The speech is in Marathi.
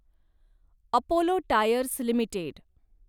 Apollo Tyres limited